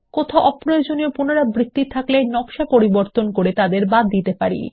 কোথাও অপ্রয়োজনীয় পুনরাবৃত্তি থাকলে নকশা পরিবর্তন করে তাদের বাদ দিতে পারি